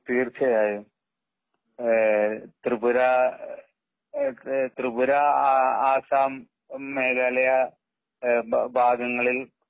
തീർച്ചയായും ഏ ത്രിപുര ഒക്കെ ത്രിപുര ആ ആസാം മേഖലയാ ഏ ഭാഗങ്ങളിൽ